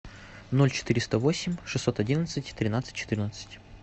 ноль четыреста восемь шестьсот одиннадцать тринадцать четырнадцать